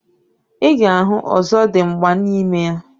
Iga ahụ ozodimgba na ime ya.